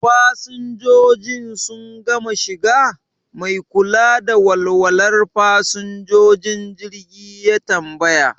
Fasinjojin sun gama shiga? Mai kula da walwalar fasinjojin jirgi ya tambaya.